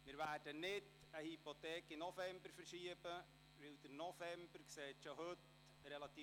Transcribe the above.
Wir werden keine Hypothek in die Novembersession verschieben, weil diese bereits heute voll befrachtet aussieht.